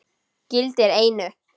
Gildir einu!